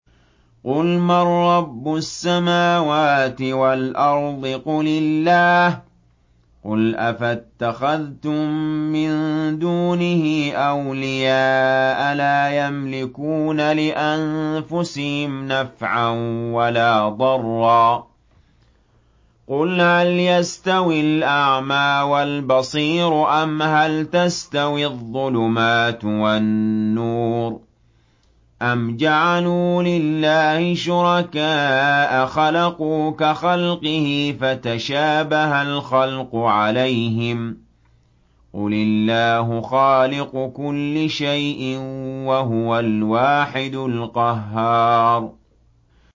قُلْ مَن رَّبُّ السَّمَاوَاتِ وَالْأَرْضِ قُلِ اللَّهُ ۚ قُلْ أَفَاتَّخَذْتُم مِّن دُونِهِ أَوْلِيَاءَ لَا يَمْلِكُونَ لِأَنفُسِهِمْ نَفْعًا وَلَا ضَرًّا ۚ قُلْ هَلْ يَسْتَوِي الْأَعْمَىٰ وَالْبَصِيرُ أَمْ هَلْ تَسْتَوِي الظُّلُمَاتُ وَالنُّورُ ۗ أَمْ جَعَلُوا لِلَّهِ شُرَكَاءَ خَلَقُوا كَخَلْقِهِ فَتَشَابَهَ الْخَلْقُ عَلَيْهِمْ ۚ قُلِ اللَّهُ خَالِقُ كُلِّ شَيْءٍ وَهُوَ الْوَاحِدُ الْقَهَّارُ